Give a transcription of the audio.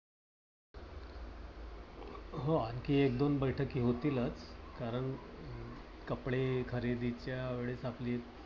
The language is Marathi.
हो आणखी एक दोन बैठकी होतीलच. कारण कपडे खरेदीच्या वेळेस आपली